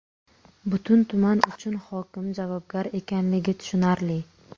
Butun tuman uchun hokim javobgar ekanligi tushunarli.